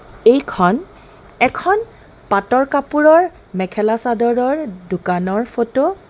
এইখন এখন পাতৰ কাপোৰৰ মেখেলা চাদৰৰ দোকানৰ ফটো .